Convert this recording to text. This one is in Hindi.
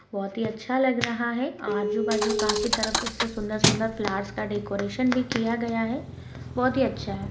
बहुत ही अच्छा लग रहा है आजू बाजू काफी तरफ से सुंदर सुंदर फ्लावर्स का डेकोरेशन भी किया गया है बहुत ही अच्छा है।